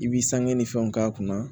I b'i sangɛn ni fɛnw k'a kunna